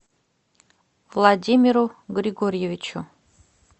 владимиру григорьевичу